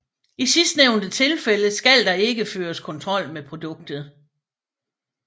I sidstnævnte tilfælde skal der ikke føres kontrol med produktet